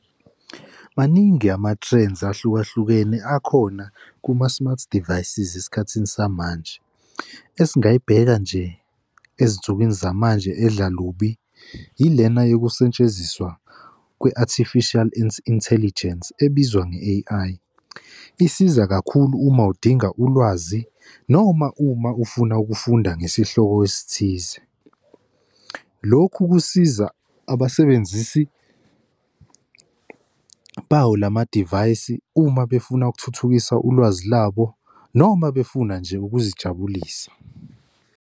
Maningi ama-trends ahlukahlukene akhona kuma-smart devices esikhathini samanje. Esingayibheka nje, ezinsukwini zamanje edla lubi yilena yokusetshenziswa kwe-artificial intelligence ebizwa nge-A_I. Isiza kakhulu uma udinga ulwazi noma uma ufuna ukufunda ngesihloko esithize. Lokhu kusiza abasebenzisi bawo lama divayisi uma befuna ukuthuthukisa ulwazi labo, noma befuna nje ukuzijabulisa.